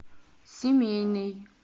семейный